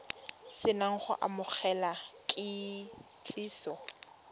se na go amogela kitsiso